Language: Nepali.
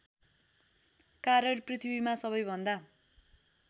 कारण पृथ्वीमा सबैभन्दा